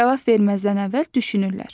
Cavab verməzdən əvvəl düşünürlər.